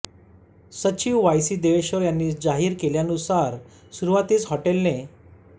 सचिव Y C Deveshwar यांनी जाहीर केल्यानुसार सुरुवातीस हॉटेलने